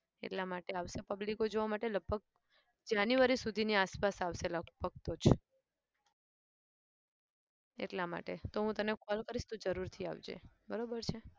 એટલા માટે આવશે public જોવા માટે લગભગ january સુધીની આસપાસ આવશે લગભગ તો જ એટલા માટે તો હું તને call કરીશ તું જરૂરથી આવજે. બરાબર છે?